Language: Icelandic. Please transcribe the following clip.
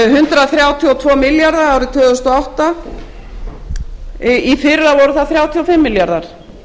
hundrað þrjátíu og tvo milljarða árið tvö þúsund og átta í fyrra voru það þrjátíu og fimm milljarðar